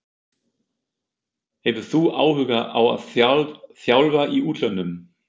Hefur þú áhuga á að þjálfa í útlöndum?